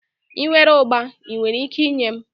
I nwere ụgba, I nwere ike inye m?